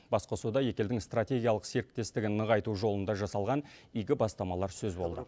басқосуда екі елдің стратегиялық серіктестігін нығайту жолында жасалған игі бастамалар сөз болды